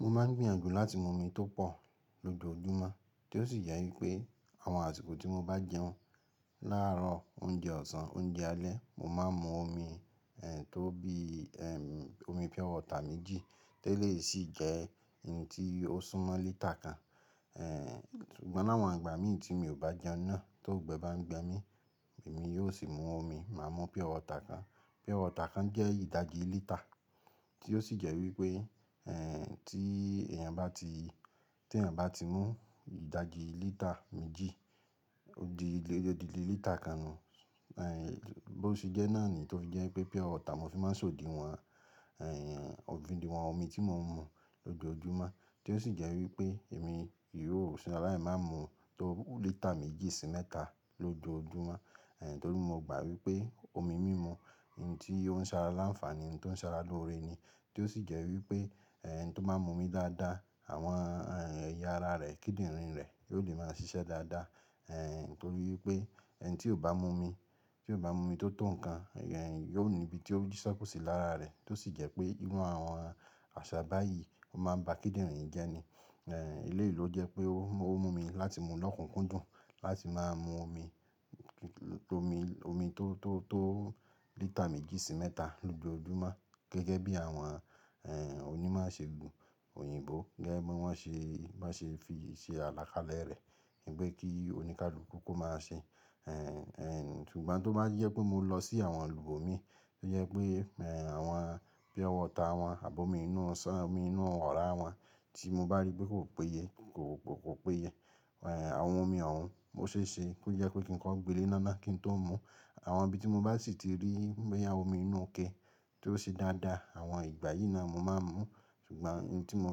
Mo máà ń gbìyànjú láti mu omi tó pọ̀ lójoojúmọ́, tí ó sì jẹ́ wípé àwọn àsìkò tí mo bá n jẹun, láàárọ̀, oúnjẹ ọ̀sán, oúnjẹ alẹ́, mo máa ń mu omi, ẹ̀, tó bí, ẹ́m, omi purewater méjì, te lèyi sì jẹ́ ohun tí ó súnmọ́ lítà kan. Ẹ̀, ṣùgbọ́n ní àwọn ìgbà mi tí mi ò bá jẹun náà, ti ongbẹ bá ń gbẹ mi, èmi yóò sì mu omi, màá mu purewater kan. Purewater kan jẹ́ ìdajì lítà, tí ó sì jẹ́ wípé, ẹ́, tí èèyàn bá ti, tí èèyàn bá ti mu ìdajì lítà méjì, ó di, ó di lítà kan nu. Ẹ̀, bó ti jẹ́ náà ni tó fi jẹ́ pé purewater mo fi máa ń ṣe odiwọn, ẹ́, odiwọn omi tí mo ń mu lójoojúmọ́. Tí ó sì jẹ́ wípé èmi yóò sálai máa mu tó lítà méjì sí mẹ́ta lójoojúmọ́. Ẹ̀, torí mo gbà wípé omi mímu, ohun tí ó ń ṣara láǹfààní, ohun tí ó ń ṣara lóore ni. Tí ó sì jẹ́ wípé, ẹ́, ẹni tí ó bá n mu omi dáadáa, àwọn eya ara re, kidinrin re, yi o le máa ṣíṣe dáadáa, torí wípé enití ó bá mu omi tó tọ́ nǹkan, ẹ́, yóò ní ibi tí ó jí ṣekò sí lára rẹ̀. Tí ó sì jẹ́ pé irú àwọn àṣà báyìí máa ń bá kíndìnrín jẹ́ ni. Ẹ̀, eleyi lo jẹ́ pé ó mú mi láti mú lọ́kùnkúndùn láti má a mu omi, omi, omi tó, tó, tó lítà méjì sí mẹ́ta lójoojúmọ́. Gẹ́gẹ́ bí àwọn, ẹ́, oní ìmọ̀ iṣe gùn òyìnbó gẹ́gẹ́ bí wọ́n ṣe, bí won ṣe fi ṣe àlàkalẹ̀ rẹ̀. Peé kí oníkálukú kó máa ṣe. Ẹ̀, ẹ́, ṣùgbọ́n tó bá jẹ pé mo lọ sí àwọn ibọ́ mi n tó jẹ́ pé, ẹ́, àwọn purewater wọn àbọ̀mi inú ọ̀sán, omi inú ọ̀wọ́rà wọn tí mo bá rí pé kò péye, kò péye, ẹ̀, àwọn omi òhun o ṣè ṣe kó jẹ́ kí ń kọ́ gbélé iná na kí n tó mu. Àwọn ibi tí mo bá sì ti rí bóyá omi inú ike tó ṣe dáadáa, àwọn ìgbà yìí náà mo máa ń mu. Ṣùgbọ́n ohun tí mo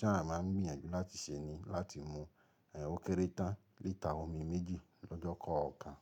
ṣàa máa ń gbìyànjú láti ṣe ni láti mu, ẹ́, ó kéré tán lítà omi méjì lọ́jọ́ kan.